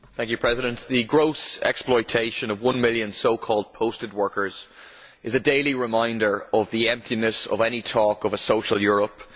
Mr President, the gross exploitation of one million so called posted workers is a daily reminder of the emptiness of any talk of a social Europe.